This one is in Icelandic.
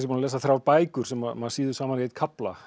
að lesa þrjár bækur sem maður sýður saman í einn kafla